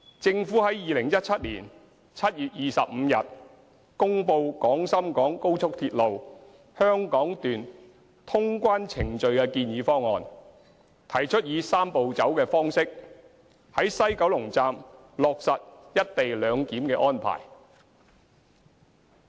政府在2017年7月25日公布廣深港高速鐵路香港段通關程序的建議方案，提出以"三步走"的方式，於西九龍站落實"一地兩檢"的安排。